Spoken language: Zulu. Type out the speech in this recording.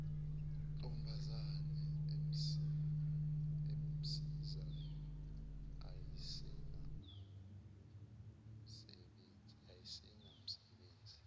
ntombazana emsizayo ayisenamsebenzi